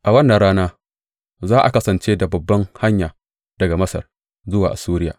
A wannan rana za a kasance da babban hanya daga Masar zuwa Assuriya.